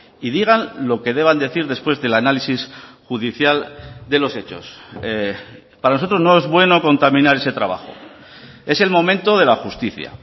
y digan lo que deban decir después del análisis judicial de los hechos para nosotros no es bueno contaminar ese trabajo es el momento de la justicia